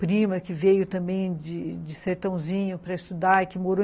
Prima que veio também de sertãozinho para estudar e que morou.